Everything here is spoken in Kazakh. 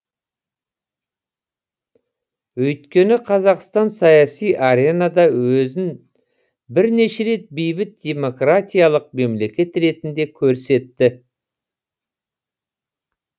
өйткені қазақстан саяси аренада өзін бірнеше рет бейбіт демократиялық мемлекет ретінде көрсетті